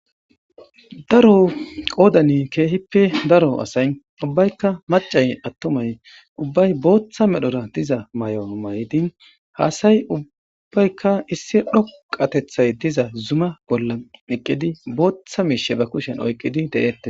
Daro qoodhen keehippe daro asay ubbaykka maccay attumay ubbay bootha medhora diza mayo mayidi ha ubbaykka issi dhoqqqateththay diza zuma bolla bootha miisheza kushen oykkidi de'etees.